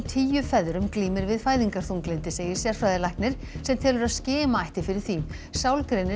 tíu feðrum glímir við fæðingarþunglyndi segir sérfræðilæknir sem telur að skima ætti fyrir því